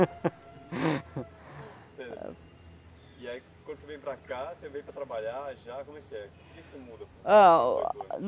Aí, quando você vem para cá você veio para trabalhar, já como é que é? O que que você muda?